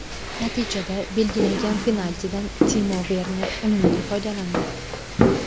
Natijada belgilangan penaltidan Timo Verner unumli foydalandi.